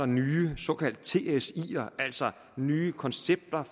nye såkaldte tsier altså nye koncepter